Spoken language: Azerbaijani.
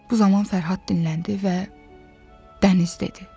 Bu zaman Fərhad dinləndi və dəniz dedi.